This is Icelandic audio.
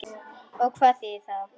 Og hvað þýðir það?